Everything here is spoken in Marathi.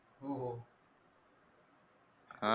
हो हो.